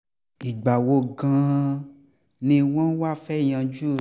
ìgbà wo gan-an ni wọ́n wáá fẹ́ẹ́ yanjú